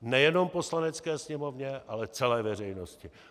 Nejenom Poslanecké sněmovně, ale celé veřejnosti.